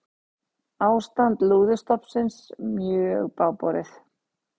Ástand lúðustofnsins mjög bágborið